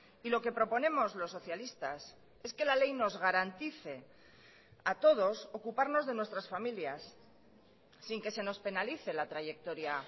y lo que proponemos los socialistas es que la ley nos garantice a todos ocuparnos de nuestras familias sin que se nos penalice la trayectoria